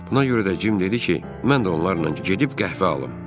Buna görə də Cim dedi ki, mən də onlarla gedib qəhvə alım.